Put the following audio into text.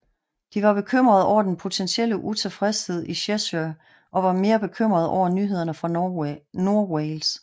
De var bekymrede over den potentielle utilfredshed i Cheshire og var mere bekymrede over nyhederne fra Nordwales